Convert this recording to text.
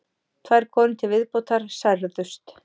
Tvær konur til viðbótar særðust